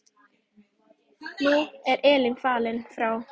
Nú er Elín fallin frá.